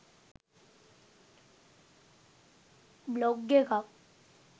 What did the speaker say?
blog එකක්